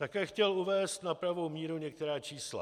Také chtěl uvést na pravou míru některá čísla.